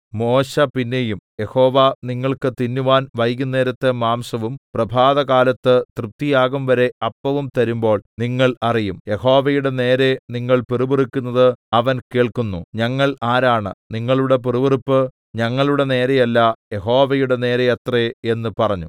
മോശെ പിന്നെയും യഹോവ നിങ്ങൾക്ക് തിന്നുവാൻ വൈകുന്നേരത്ത് മാംസവും പ്രഭാതകാലത്ത് തൃപ്തിയാകുംവരെ അപ്പവും തരുമ്പോൾ നിങ്ങൾ അറിയും യഹോവയുടെ നേരെ നിങ്ങൾ പിറുപിറുക്കുന്നത് അവൻ കേൾക്കുന്നു ഞങ്ങൾ ആരാണ് നിങ്ങളുടെ പിറുപിറുപ്പ് ഞങ്ങളുടെ നേരെയല്ല യഹോവയുടെ നേരെയത്രേ എന്ന് പറഞ്ഞു